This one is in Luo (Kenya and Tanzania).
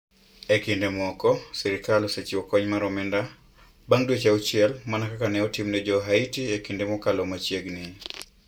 E kinde moko, sirkal osechiwo kony mar omenda bang ' dweche auchiel - mana kaka ne otim ne Jo - Haiti e kinde mokalo machiegni.